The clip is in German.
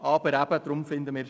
Deswegen finden wir: